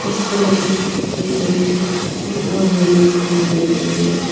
उसपे लगे हुए कई रंग के फूल और रिबन हमें दिख रहे हैं।